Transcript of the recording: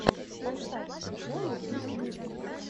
поставь приколы в ютьюбе